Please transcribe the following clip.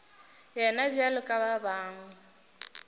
yena bjalo ka ba bangwe